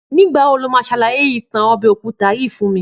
Nígbà wo lo máa ṣàlàyé ìtàn ọbẹ̀ òkúta yìí fún mi